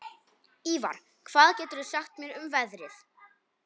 Ívar, hvað geturðu sagt mér um veðrið?